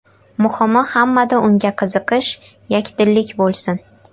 Muhimi hammada unga qiziqish, yakdillik bo‘lsin.